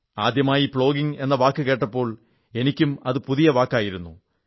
ആദ്യമായി പ്ലോഗിംഗ് എന്ന വാക്കു കേട്ടപ്പോൾ എനിക്കും അത് പുതിയ വാക്കായിരുന്നു